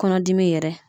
Kɔnɔdimi yɛrɛ